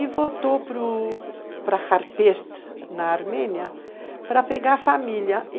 E voltou para Harper, na Armênia, para pegar família.